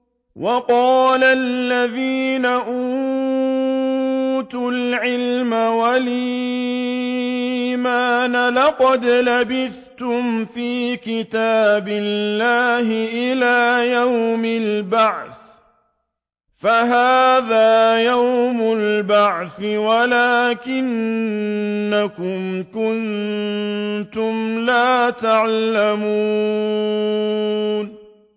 وَقَالَ الَّذِينَ أُوتُوا الْعِلْمَ وَالْإِيمَانَ لَقَدْ لَبِثْتُمْ فِي كِتَابِ اللَّهِ إِلَىٰ يَوْمِ الْبَعْثِ ۖ فَهَٰذَا يَوْمُ الْبَعْثِ وَلَٰكِنَّكُمْ كُنتُمْ لَا تَعْلَمُونَ